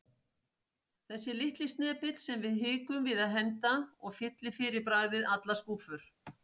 Þessi litli snepill sem við hikum við að henda og fyllir fyrir bragðið allar skúffur.